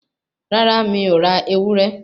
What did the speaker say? Rárá, mi ò ra ewúré